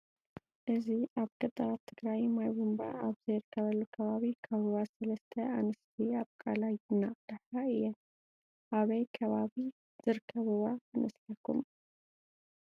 እዚ አብ ገጠራት ትግራይ ማይ ቡንባ አብዘይርከበሉ ከባቢ ካብ ሩባ ሰለስተ አንስቲ ካብ ቃለይ እናቀድሐ እየን። አበይ ከባቢ ዝርከብ ሩባ ይመስለኩም?